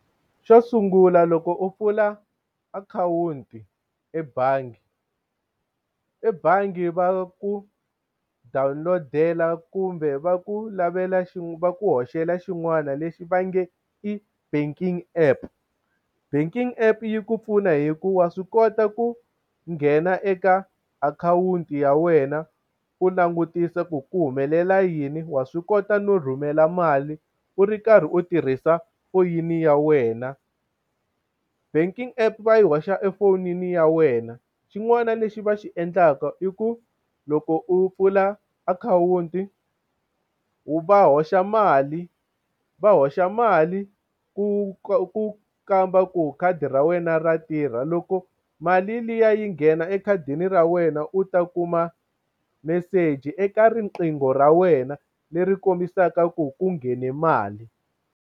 Xo sungula loko u pfula akhawunti ebangi e bangi va ku download-ela kumbe va ku lavela va ku hoxela xin'wana lexi va nge i banking app banking app yi ku pfuna hi ku wa swi kota ku nghena eka akhawunti ya wena u langutisa ku ku humelela yini wa swi kota no rhumela mali u ri karhi u tirhisa foyini ya wena banking app va yi hoxa efonini ya wena xin'wana lexi va xi endlaka i ku loko u pfula akhawunti va hoxa mali va hoxa mali ku ku kamba ku khadi ra wena ra tirha loko mali liya yi nghena ekhadini ra wena u ta kuma meseji eka riqingho ra wena leri kombisaka ku ku nghene mali.